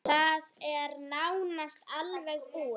Það er nánast alveg búið.